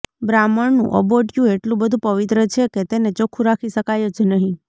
બ્રાહ્મણનું અબોટિયું એટલું બધું પવિત્ર છે કે તેને ચોખ્ખું રાખી શકાય જ નહિ